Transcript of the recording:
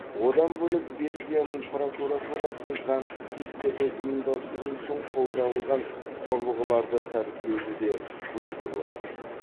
одан бөлек белгияның прокуратурасы заңсыз кештерді ұйымдастыру үшін қолданылған құрылғыларды тәркілеуді де көздеп отыр